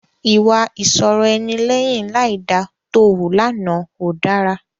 Ìwà ìṣọ̀rọ̀-ẹni lẹ́yìn láìda tó wu lánàá ò dára.